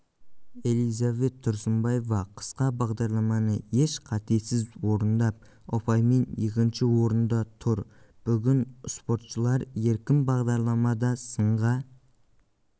элизабет тұрсынбаева қысқа бағдарламаны еш қатесіз орындап ұпаймен екінші орында тұр бүгін спортшылар еркін бағдарламада сынға